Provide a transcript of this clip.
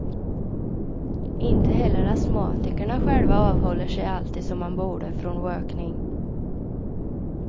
Inte heller astmatikerna själva avhåller sig alltid, som man borde, från rökning.